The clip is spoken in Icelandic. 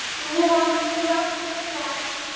Svo jókst það.